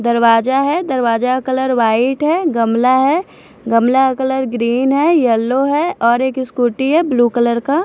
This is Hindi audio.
दरवाजा है दरवाजा का कलर व्हाईट है गमला है गमला का कलर ग्रीन है यलो है और एक स्कूटी है ब्लू कलर का।